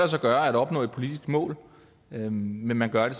sig gøre at opnå et politisk mål men man gør det